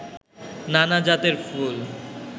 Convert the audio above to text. নানা জাতের ফুল